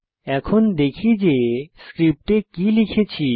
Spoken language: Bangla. এখন দেখি যে স্ক্রিপ্টে কি লিখেছি